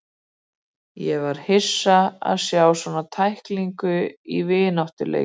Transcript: Ég var hissa á að sjá svona tæklingu í vináttuleik.